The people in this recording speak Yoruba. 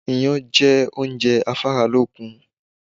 Iyán jẹ́ oúnjẹ afáralókun